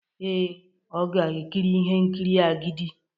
Ee, ọ ga-ekiri ihe nkiri "Agidi"